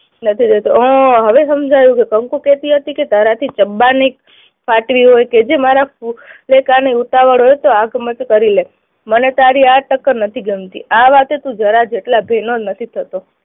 નથી રેહતો. ઉહ હવે સમજાયું કે કંકુ કેહતી હતી કે તારાથી ડબ્બાની હોય કેજે મારા ની ઉતાવળ હોય તો આગમત કરી લે. મને તારી આ શકલ નથી ગમતી. આ વાતે તું જરા જેટલા નો નથી થતો